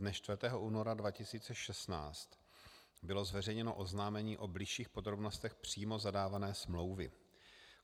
Dne 4. února 2016 bylo zveřejněno oznámení o bližších podrobnostech přímo zadávané smlouvy.